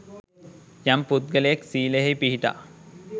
යම් පුද්ගලයෙක් ශීලයෙහි පිහිටා